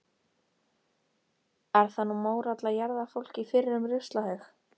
Er það nú mórall að jarða fólk í fyrrum ruslahaug.